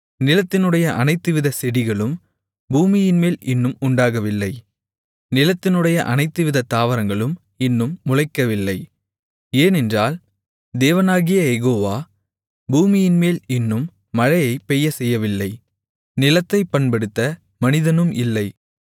நிலத்தினுடைய அனைத்துவிதச் செடிகளும் பூமியின்மேல் இன்னும் உண்டாகவில்லை நிலத்தினுடைய அனைத்துவிதத் தாவரங்களும் இன்னும் முளைக்கவில்லை ஏனென்றால் தேவனாகிய யெகோவா பூமியின்மேல் இன்னும் மழையைப் பெய்யச்செய்யவில்லை நிலத்தைப் பண்படுத்த மனிதனும் இல்லை